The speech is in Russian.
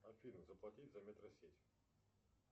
афина заплатить за метросеть